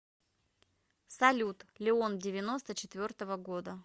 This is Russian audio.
салют леон девяносто четвертого года